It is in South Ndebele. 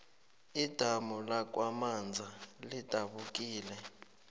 idamu lakwamaza lidabukile